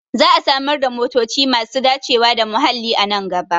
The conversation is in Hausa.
Za a samar da motoci masu dacewa da muhalli a nan gaba